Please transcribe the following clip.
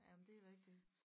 Jamen det er rigtigt